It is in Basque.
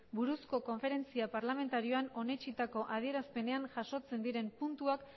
buruzko konferentzia parlamentarioan onetsitako adierazpenean jasotzen diren puntuak